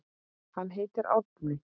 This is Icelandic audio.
Hann heitir Árni.